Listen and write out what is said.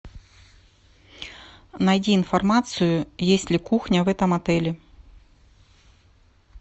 найди информацию есть ли кухня в этом отеле